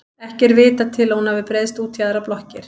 Ekki er vitað til að hún hafi breiðst út í aðrar blokkir.